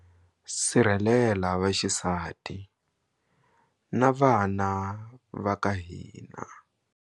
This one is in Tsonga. Sirhelela vaxisati na vana va ka hina.